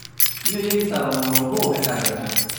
inyoyieki saa tomon obo enkakenya